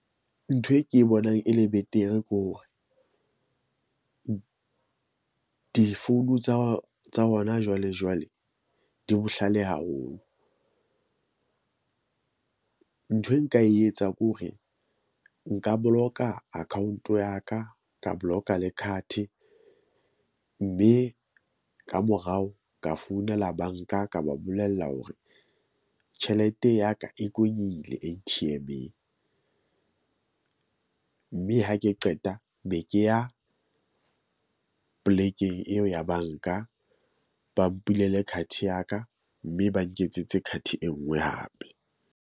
Ntho e ke bonang e le betere ko hore difounu tsa tsa hona jwale jwale di bohlale haholo . Nthwe nka e etsa ke hore nka boloka account ya ka ka block-a le card. Mme ka morao ka founela bank-a ka ba bolella hore tjhelete ya ka e A_T_M-eng . Mme ha ke qeta be ke ya, plek-eng eo ya bank-a. Ba mpulele card ya ka mme ba nketsetse card e nngwe hape.